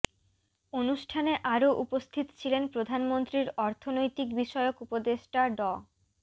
অনুষ্ঠানে আরো উপস্থিত ছিলেন প্রধানমন্ত্রীর অর্থনৈতিক বিষয়ক উপদেষ্টা ড